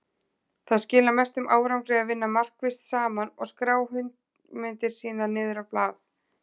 Það skilar mestum árangri að vinna markvisst saman og skrá hugmyndir niður á blað.